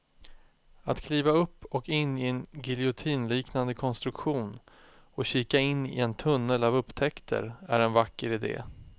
Att kliva upp och in i en giljotinliknande konstruktion och kika in i en tunnel av upptäckter är en vacker idé.